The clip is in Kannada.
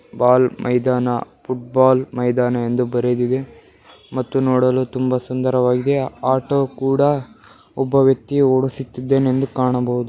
ಬಾಲ್ ಮೈದಾನ ಫುಟ್ ಬಾಲ್ ಮೈದಾನ ಎಂದು ಬರೆದಿದೆ ಮತ್ತು ನೋಡಲು ತುಂಬಾ ಸುಂದರವಾಗಿದೆ ಆಟೋ ಕೂಡ ಒಬ್ಬ ವ್ಯಕ್ತಿ ಓಡಿಸುತ್ತಿದ್ದಾನೆ ಎಂದು ಕಾಣಬಹುದು .